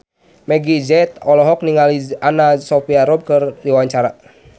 Meggie Z olohok ningali Anna Sophia Robb keur diwawancara